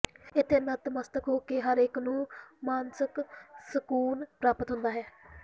ਇਥੇ ਨਤਮਸਤਕ ਹੋ ਕੇ ਹਰ ਇਕ ਨੂੰ ਮਾਨਸਕ ਸਕੂਨ ਪ੍ਰਾਪਤ ਹੁੰਦਾ ਹੈ